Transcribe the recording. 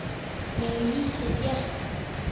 Ég lýsi Bjarka